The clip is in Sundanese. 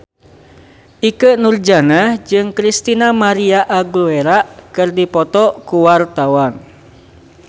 Ikke Nurjanah jeung Christina María Aguilera keur dipoto ku wartawan